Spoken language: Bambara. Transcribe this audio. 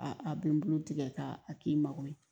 A a bɛ n bolo tigɛ ka a k'i mago ye